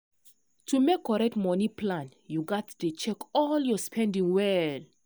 to make correct money plan you gats dey check all your spending well.